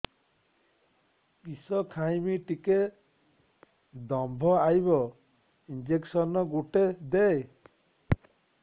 କିସ ଖାଇମି ଟିକେ ଦମ୍ଭ ଆଇବ ଇଞ୍ଜେକସନ ଗୁଟେ ଦେ